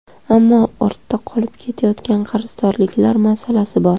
Ammo ortda qolib ketayotgan qarzdorliklar masalasi bor.